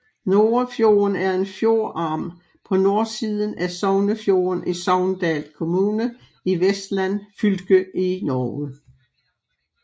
Norafjorden er en fjordarm på nordsiden af Sognefjorden i Sogndal kommune i Vestland fylke i Norge